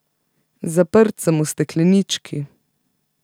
Zaprt sem v steklenički.